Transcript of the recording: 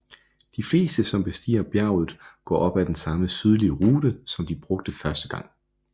De fleste som bestiger bjerget går op af den samme sydlige rute som de brugte første gang